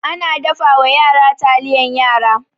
Ana dafawa yara taliyan yara.